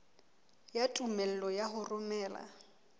ya tumello ya ho romela